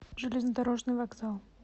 железнодорожный вокзал